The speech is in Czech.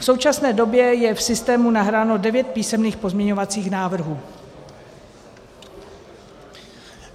V současné době je v systému nahráno devět písemných pozměňovacích návrhů.